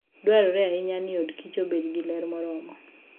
Dwarore ahinya ni odkich obed gi ler moromo.